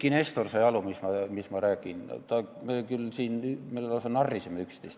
Eiki Nestor sai aru, mis ma räägin, siin me lausa narrisime üksteist.